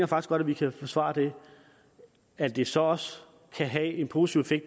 godt at vi kan forsvare det at det så også kan have en positiv